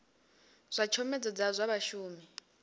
zwa tshomedzo dza zwa vhashumi